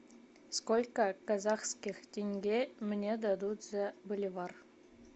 сколько казахских тенге мне дадут за боливар